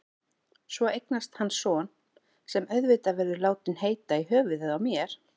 Svo eignast hann son, sem auðvitað verður látinn heita í höfuðið á mér.